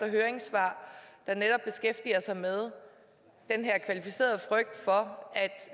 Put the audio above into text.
høringssvar der netop beskæftiger sig med den her kvalificerede frygt for at